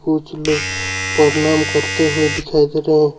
कुछ लोग प्रणाम करते हुए दिखाई दे रहे हैं।